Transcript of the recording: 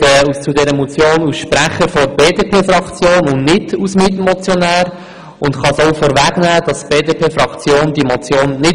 Die BDP-Fraktion unterstützt diese Motion aus verschiedenen Gründen nicht.